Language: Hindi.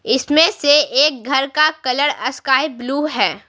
इसमें से एक घर का कलर स्काई ब्लू है।